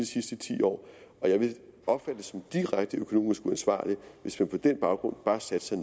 sidste ti år og jeg vil opfatte det som direkte økonomisk uansvarligt hvis vi på den baggrund bare sætter